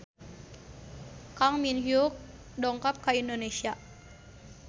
Kang Min Hyuk dongkap ka Indonesia